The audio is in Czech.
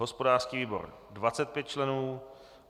hospodářský výbor 25 členů